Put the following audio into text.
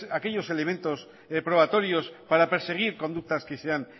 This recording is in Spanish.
aquellos elementos probatorios para perseguir conductas que sean